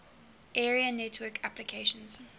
area network applications